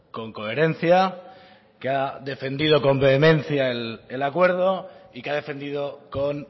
con coherencia que ha defendido con vehemencia el acuerdo y que ha defendido con